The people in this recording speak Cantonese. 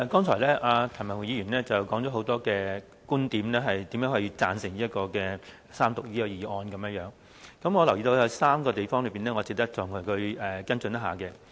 主席，譚文豪議員剛才提出很多觀點，說明為何支持《2017年稅務條例草案》的三讀，我留意到有3個地方，值得再與他跟進一下。